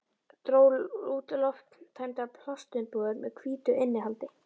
Dró út lofttæmdar plastumbúðir með hvítu innihaldi.